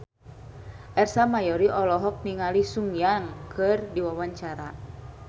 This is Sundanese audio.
Ersa Mayori olohok ningali Sun Yang keur diwawancara